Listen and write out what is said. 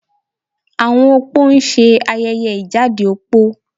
Àwọn opó ń ṣe ayẹyẹ ìjáde opó